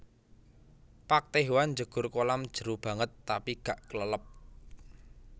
Park Tae hwan njegur kolam jeru banget tapi gak klelep